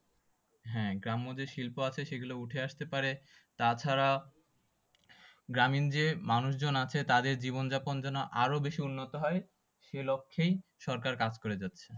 হ্যাঁ গ্রাম্য যে শিল্প আছে সেগুলো উঠে আসতে পারে তাছাড়া গ্রামীণ যে মানুষজন আছে তাদের জীবন যাপন যেন আরো বেশি উন্নত হয় সেই লক্ষেই সরকার কাজ করে যাচ্ছে।